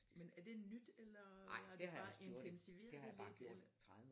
Men er det nyt eller har det bare intensiveret det lidt eller?